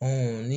ni